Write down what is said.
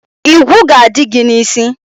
Igwu ga-adị gị n' isi.